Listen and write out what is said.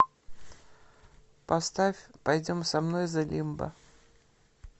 поставь пойдем со мной зэ лимба